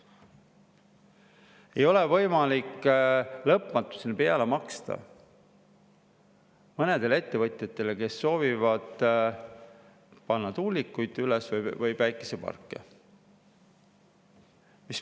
Ei ole võimalik lõpmatuseni peale maksta mõnedele ettevõtjatele, kes soovivad panna üles tuulikuid või päikeseparke.